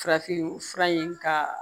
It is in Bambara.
Farafin fura in ka